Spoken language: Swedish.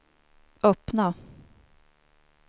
öppna